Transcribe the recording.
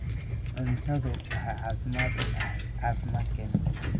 Cuntadu waxay muhiim u tahay caafimaadkeena.